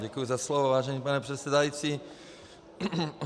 Děkuji za slovo, vážený pane předsedající.